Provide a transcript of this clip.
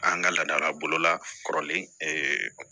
An ka laadala bolola kɔrɔlen